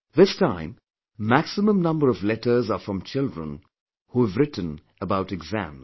This time, maximum number of letters are from children who have written about exams